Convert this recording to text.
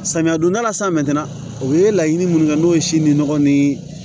Samiya donda la san mɛtɛrɛn o ye laɲini minnu kɛ n'o ye si ni nɔgɔ ni